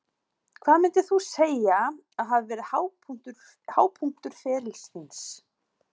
Hvað myndir þú segja að hafi verið hápunktur ferils þíns?